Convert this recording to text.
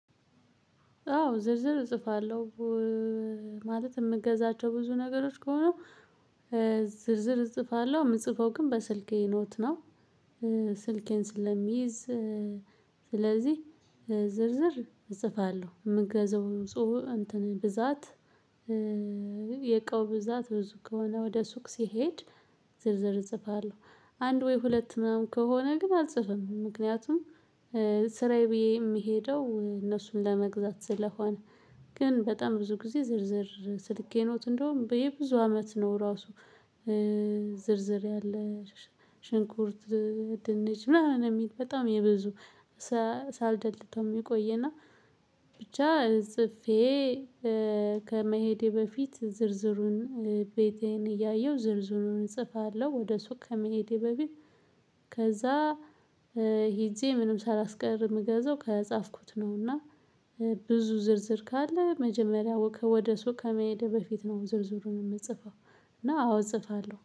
አዎ ዝርዝር እጽፋለሁ። ማለት የምገዛቸው ብዙ ነገሮች ከሆኑ ዝርዝር እጽፋለሁ የምጽፈው ግን በስልኬ ኖት ነው። ስልኬን ስለሚይዝ ስለዚህ ዝርዝር እጽፋለሁ። የምገዛው እንትን ብዛት። የህቃው ብዛት ብዙ ከሆነ ወደ ሱቅ ስሄድ ዝርዝር እጽፋለሁ። አንድ ወይ ሁለት ምናምን ከሆነ ግን አልጽፍም ምክንያቱም ስራዬ ብዬ የምሄደው እነሱን ለመግዛት ስለሆነ። ግን በጣም ብዙ ጊዜ ዝርዝር ስልኬ ኖት እንደውም የብዙ አመት ነው ራሱ። ዝርዝር ያለ ሽንኩርት። ድንች ምናምን የሚል በጣም የብዙ ሳልደልተው የሚቆይና ብቻ ጽፌ። ከመሄዴ በፊት ዝርዝሩን ቤቴን እያየሁ ዝርዝሩን እጽፋለሁ ወደ ሱቅ ከመሄዴ በፊት። ከዛ ሄጄ ምንም ሳላስቀር የምገዛው ከጻፍኩት ነውና። ብዙ ዝርዝር ካለ መጀመሪያው ከወደ ሱቅ ከመሄድ በፊት ነው ዝርዝሩን የምጽፈው። እና አዎ እጽፋለሁ